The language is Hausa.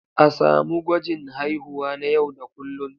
A samu gwajin haihuwa na yau da kullun.